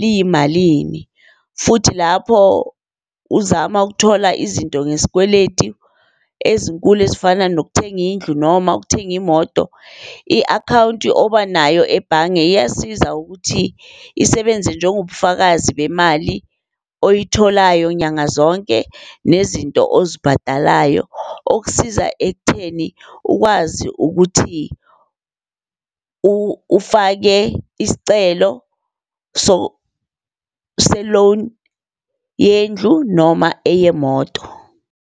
liyimalini, futhi lapho uzama ukuthola izinto ngesikweletu ezinkulu ezifana nokuthenga indlu noma ukuthenga imoto, i-akhawunti obanayo ebhange iyasiza ukuthi isebenze njengobufakazi bemali oyitholayo nyanga zonke, nezinto ozibhadalayo okusiza ekutheni ukwazi ukuthi ufake isicelo se-loan yendlu noma eyemoto.